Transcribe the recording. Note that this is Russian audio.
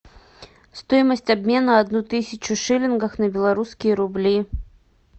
стоимость обмена одну тысячу шиллингов на белорусские рубли